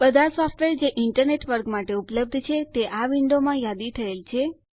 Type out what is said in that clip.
બધા સોફ્ટવેરજે ઈન્ટરનેટ વર્ગ માટે ઉપલબ્ધ છે તે આ વિન્ડો માં યાદી થયેલ છે